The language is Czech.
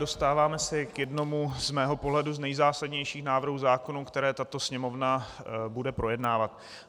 Dostáváme se k jednomu z mého pohledu z nejzásadnějších návrhů zákonů, které tato Sněmovna bude projednávat.